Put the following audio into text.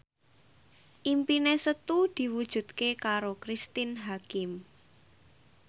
impine Setu diwujudke karo Cristine Hakim